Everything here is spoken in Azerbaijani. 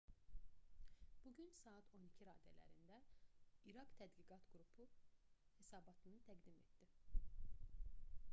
bu gün saat 12:00 gmt raddələrində i̇raq tədqiqat qrupu hesabatını təqdim etdi